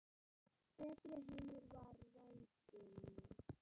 Betri heimur var í vændum.